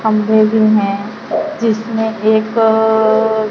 खंभे भी हैं जिसमें एक--